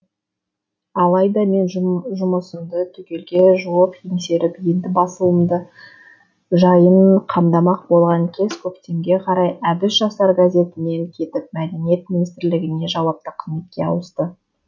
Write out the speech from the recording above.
алайда мен жұмысымды түгелге жуық еңсеріп енді басылымдар жайын қамдамақ болған кез көктемге қарай әбіш жастар газетінен кетіп мәдениет министрлігіне жауапты қызметке ауысты